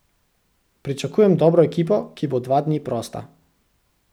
Pričakujem dobro ekipo, ki bo dva dni prosta.